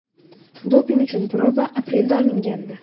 Doping uchun proba aprelda olingandi.